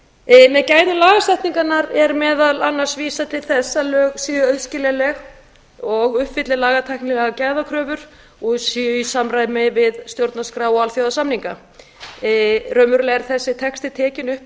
með gæðum lagasetningarinnar er meðal annars vísað til þess að lög séu auðskiljanleg og uppfylli lagatæknilegar gæðakröfur og séu í samræmi við stjórnarskrá og alþjóðasamninga raunverulega er þessi texti tekinn upp